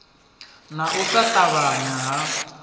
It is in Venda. na u sa ṱavhanya ha